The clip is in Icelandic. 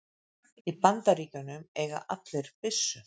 Í Bandaríkjunum eiga allir byssu.